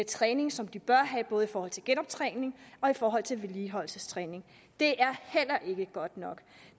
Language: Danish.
træning som de bør have både i forhold til genoptræning og i forhold til vedligeholdelsestræning det er heller ikke godt nok